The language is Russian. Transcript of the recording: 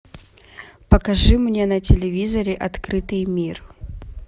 покажи мне на телевизоре открытый мир